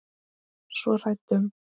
Svo hrædd um.